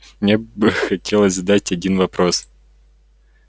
мне бы хотелось задать один вопрос